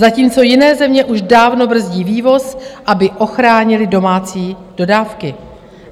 Zatímco jiné země už dávno brzdí vývoz, aby ochránily domácí dodávky.